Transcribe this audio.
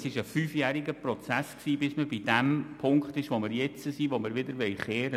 Es war ein fünfjähriger Prozess, um zum Punkt zu gelangen, an dem wir heute stehen.